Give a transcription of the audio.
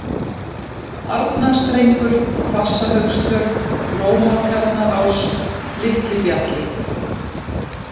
Arnarstrengur, Hvasshaugstjörn, Lómatjarnarás, Litli-Bjalli